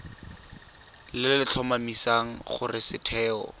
le le tlhomamisang gore setheo